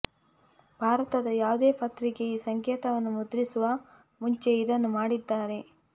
ಭಾರತದ ಯಾವುದೇ ಪತ್ರಿಕೆ ಈ ಸಂಕೇತವನ್ನು ಮುದ್ರಿಸುವ ಮುಂಚೆ ಇದನ್ನು ಮಾಡಿದ್ದಾರೆ